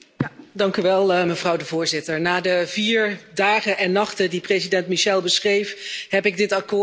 Voorzitter, na de vier dagen en nachten die president Michel beschreef, heb ik dit akkoord omschreven als